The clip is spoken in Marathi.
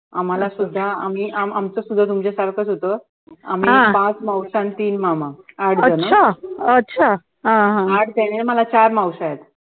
आम्हाला सुद्धा आम्ही आम आमचंसुद्धा तुमच्यासारखंच होतं आम्ही पाच मावश्या आणि तीन मामा आठ झाले ना मला चार मावश्या आहेत